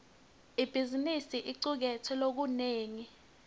ibhizimisi icuketse lokunengi